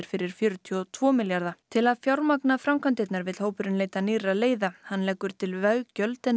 fyrir fjörutíu og tvo milljarða til að fjármagna framkvæmdirnar vill hópurinn leita nýrra leiða hann leggur til veggjöld en